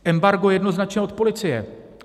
Embargo jednoznačně od policie.